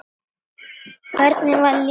Hvernig var líf hans?